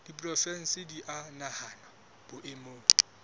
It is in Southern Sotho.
diporofensi di a nahanwa boemong